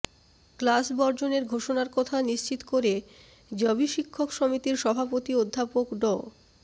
class বর্জনের ঘোষণার কথা নিশ্চিত করে জবি শিক্ষক সমিতির সভাপতি অধ্যাপক ড